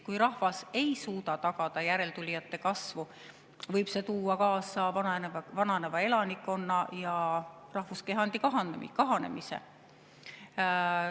Kui rahvas ei suuda tagada järeltulijate kasvu, võib see tuua kaasa vananeva elanikkonna ja rahvuskehandi kahanemise.